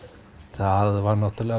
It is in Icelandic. það var náttúrulega